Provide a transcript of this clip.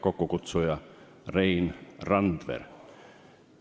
Kokkukutsuja on Rein Randver.